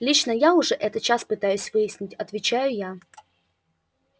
лично я это уже час пытаюсь выяснить отвечаю я